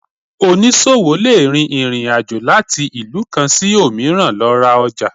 Onísọwo le rín ìrín àjọ latí ilú kan sí omìràn lo ra ojà